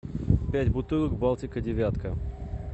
пять бутылок балтика девятка